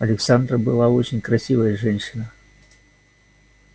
александра была очень красивая женщина